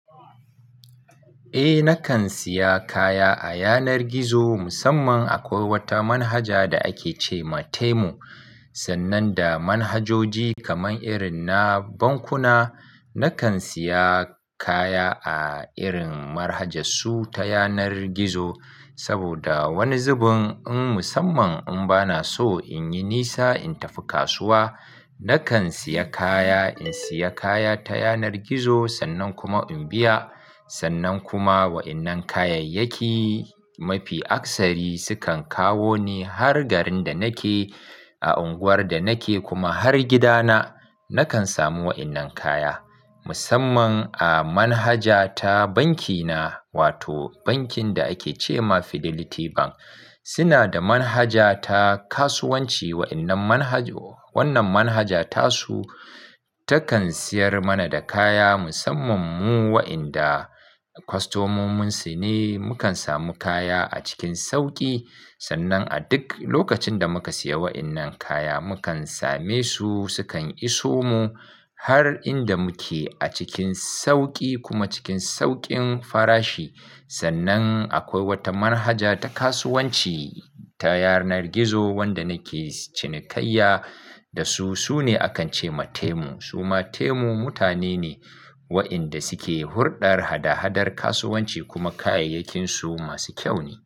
Eh, nakan siya kaya a yanar gizo musamman akwai wata manhaja da ake ce ma Temu. Sannan da manhajoji kaman irin na bankuna, nakan siya kaya a irin marhajas su ta yanar gizo. Saboda wani zubin in musamman in bana so in yi nisa in tafi kasuwa, nakan siya kaya, in siya kaya ta yanar gizo sannan kuma in biya. Sannan kuma wa'innan kayayyaki mafi aksari su kan kawo ne har garin da nake, a unguwar da nake kuma har gida na, nakan samu wa'innan kaya. Musamman a manhaja ta banki na, wato bankin da ake ce ma Fidelity Bank, suna da manhaja ta kasuwanci. Wa'innan manhajo, wannan manhaja tasu takan siyar mana da kaya musamman mu wa'enda kwastomomin su ne, mu kan samu kaya a cikin sauki. Sannan a duk lokacin da muka siya wa'innan kaya mu kan same su su kan iso mu har inda mu ke a cikin sauki kuma cikin saukin farashi. Sannan akwai wata marhaja ta kasuwanci ta yanar gizo wanda nake cinikayya da su, su ne a kan ce ma Temu. Su ma Temu mutane ne wa'inda su ke hurɗar hada-hadar kasuwanci kuma kayayyakin su masu kyau ne.